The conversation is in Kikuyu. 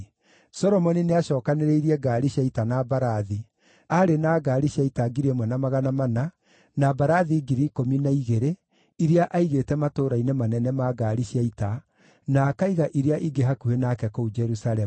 Solomoni nĩacookanĩrĩirie ngaari cia ita na mbarathi; aarĩ na ngaari cia ita 1,400 na mbarathi 12,000 iria aigĩte matũũra-inĩ manene ma ngaari cia ita, na akaiga iria ingĩ hakuhĩ nake kũu Jerusalemu.